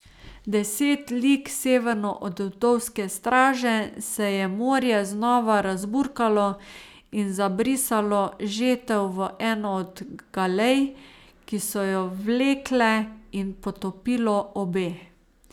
Deset lig severno od Vdovske straže se je morje znova razburkalo in zabrisalo Žetev v eno od galej, ki so jo vlekle, in potopilo obe.